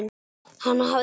Hana hafðir þú.